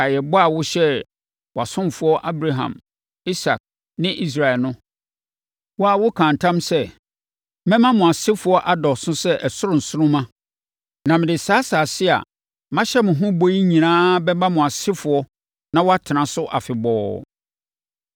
Kae ɛbɔ a wohyɛɛ wʼasomfoɔ Abraham, Isak ne Israel no. Wo ara wokaa ntam sɛ, ‘Mɛma mo asefoɔ adɔɔso sɛ ɛsoro nsoromma na mede saa asase a mahyɛ mo ho bɔ yi nyinaa bɛma mo asefoɔ na wɔatena so afebɔɔ.’ ”